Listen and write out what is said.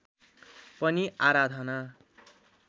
पनि आराधना